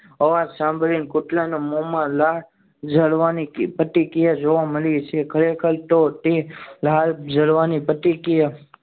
અવાજ સાંભળીને કુતરાના મોમાં લાળ જવાની પ્રતિક્રિયા જોવા મળે છે ખરેખર તો તે લાળ જરવાની પ્રતિક્રિયા